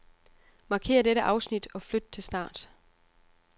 Markér dette afsnit og flyt til start.